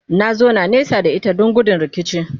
na zauna nesa da ita Dan gudun rikici